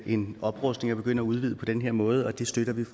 en oprustning at begynde at udvide på den her måde og det støtter vi